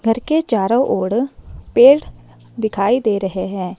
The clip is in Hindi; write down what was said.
घर के चारों ओर पेड़ दिखाई दे रहे हैं।